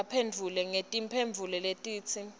baphendvule ngetimphendvulo letitsi